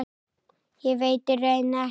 Ég veit í raun ekkert.